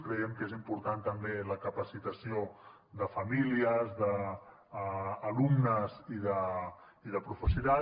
creiem que és important també la capacitació de famílies d’alumnes i de professorat